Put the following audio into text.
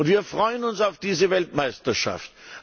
Wir freuen uns auf diese Weltmeisterschaft.